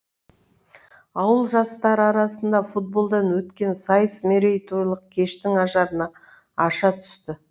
ауыл жастары арасында футболдан өткен сайыс мерейтойлық кештің ажарын аша түсті